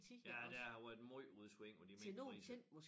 Ja der har været måj udsving på de minkpriser